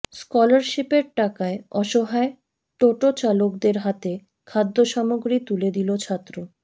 স্কলারশিপের টাকায় অসহায় টোটো চালকদের হাতে খাদ্যসামগ্রী তুলে দিল ছাত্র